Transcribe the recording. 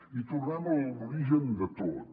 i tornem a l’origen de tot